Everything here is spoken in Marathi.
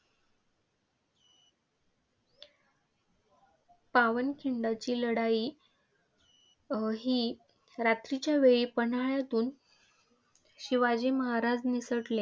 पावनखिंडीची लढाई अं ही रात्रीच्यावेळी पन्हाळ्याहून शिवाजी महाराज निसटले.